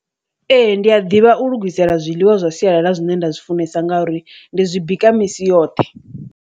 Ee, ndi a ḓivha u lugisela zwiḽiwa zwa sialala zwine nda zwi funesa ngauri ndi zwi bika misi yoṱhe.